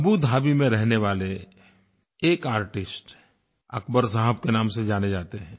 Abu Dhabi में रहने वाले एक आर्टिस्ट अक़बर साहब के नाम से जाने जाते हैं